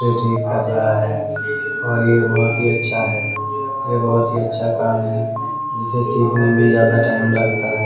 ये ठीक कर रहा है और ये बहुत ही अच्छा है। यह बहुत ही अच्छा काम है। जिसे सीखने में ज्यादा टाइम लगता है।